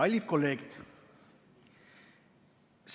Kallid kolleegid!